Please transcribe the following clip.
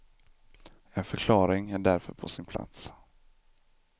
En förklaring är därför på sin plats.